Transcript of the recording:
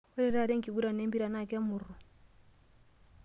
Ore taata enkiguran empira naa kemurru.